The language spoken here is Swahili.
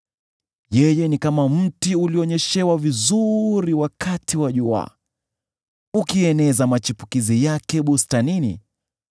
Yeye ni kama mti ulionyeshewa vizuri wakati wa jua, ukieneza machipukizi yake bustanini;